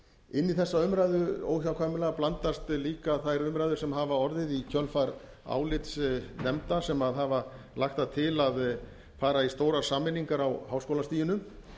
inn í þessa umræðu óhjákvæmilega blandast líka þær umræður sem hafa orðið í kjölfar álits nefnda sem hafa lagt það til að fara i stórar sameiningar á háskólastiginu